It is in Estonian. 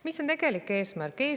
Mis on tegelik eesmärk?